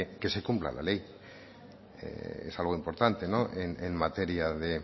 que se cumpla la ley es algo importante en materia de